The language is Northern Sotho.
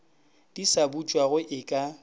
di sa butšwago e ka